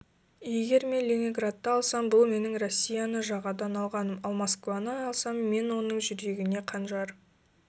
егер мен ленинградты алсам бұл менің россияны жағадан алғаным ал москваны алсам мен оның жүрегіне қанжар